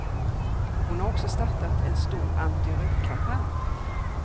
Hon har också startat en stor antirökkampanj.